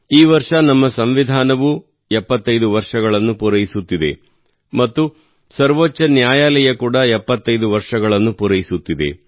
ಈ ವರ್ಷ ನಮ್ಮ ಸಂವಿಧಾನವೂ 75 ವರ್ಷಗಳನ್ನು ಪೂರೈಸುತ್ತಿದೆ ಮತ್ತು ಸರ್ವೋಚ್ಚ ನ್ಯಾಯಾಲಯ ಕೂಡ 75 ವರ್ಷಗಳನ್ನು ಪೂರೈಸುತ್ತಿದೆ